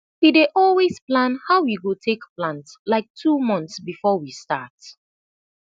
we dey always plan how we go tak plant lik two months befor we start